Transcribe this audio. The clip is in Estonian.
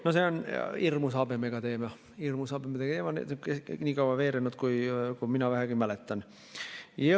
No see on habemega teema, see on nii kaua veerenud, kui mina vähegi mäletan.